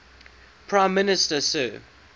prime minister sir